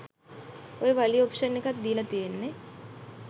ඔය වලි ඔප්ෂන් එකක් දීලා තියෙන්නේ